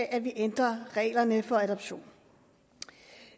at vi ændrer reglerne for adoption